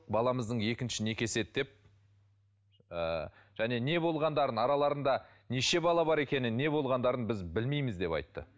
баламыздың екінші некесі еді деп ы және не болғандарын араларында неше бала бар екенін не болғандарын біз білмейміз деп айтты